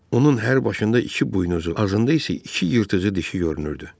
Onun hər başında iki buynuzu, azında isə iki yırtıcı dişi görünürdü.